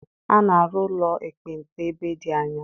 A na-arụ ụlọ ekpenta ebe dị anya.